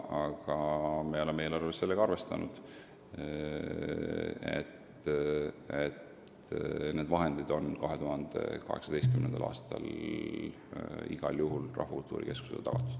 Aga me oleme eelarves sellega arvestanud ja need vahendid on 2018. aastal igal juhul Rahvakultuuri Keskusele tagatud.